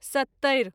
सत्तरि